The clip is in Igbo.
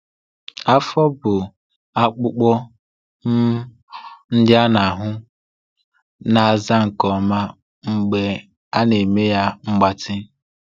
Afọ, bụ́ akpụkpọ um dị n’ahụ, na-aza nke ọma mgbe a na-eme ya mgbatị.